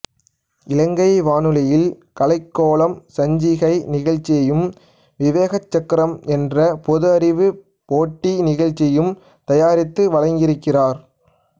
இலங்கை வானொலியில் கலைக்கோலம் சஞ்சிகை நிகழ்ச்சியையும் விவேகச் சக்கரம் என்ற பொதுஅறிவுப் போட்டி நிகழ்ச்சியையும் தயாரித்து வழங்கியிருக்கிறார்